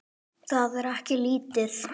Það er ekki lítið.